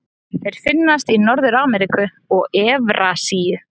Þeir finnast í Norður-Ameríku og Evrasíu.